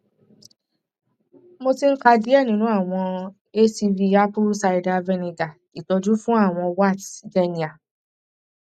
mo ti n ka diẹ ninu awọn acv apple cider vinegar itọju fun awọn warts genial